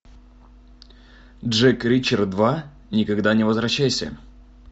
джек ричер два никогда не возвращайся